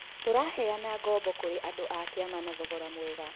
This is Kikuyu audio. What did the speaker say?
Tũraheana ngombo kũrĩ andũ a kĩama na thogora mwega.